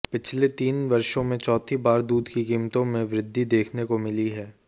पिछले तीन वर्षो में चौथी बार दूध की कीमतों में वृद्धि देखने को मिली है